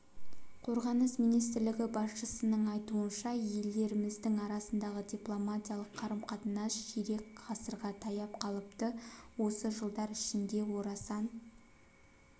қорғаныс министрлігі басшысының айтуынша елдеріміздің арасындағы дипломатиялық қарым-қатынас ширек ғасырға таяп қалыпты осы жылдар ішінде орасан